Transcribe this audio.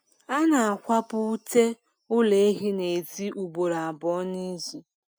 A na akwapu ute ụlọ ehi n'ezi ugboro abụọ n'izuu